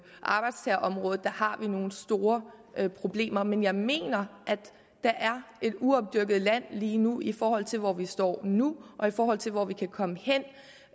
arbejdstagerområdet har vi nogle store problemer men jeg mener at der er et uopdyrket land lige nu i forhold til hvor vi står nu og i forhold til hvor vi kan komme hen